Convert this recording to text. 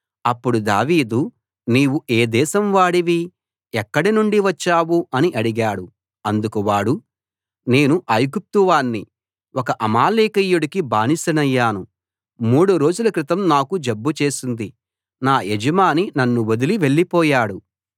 అప్పుడు దావీదు నీవు ఏ దేశం వాడివి ఎక్కడనుండి వచ్చావు అని అడిగాడు అందుకు వాడు నేను ఐగుప్తు వాణ్ణి ఒక అమాలేకీయుడికి బానిసనయ్యాను మూడు రోజుల క్రితం నాకు జబ్బు చేసింది నా యజమాని నన్ను వదిలి వెళ్ళిపోయాడు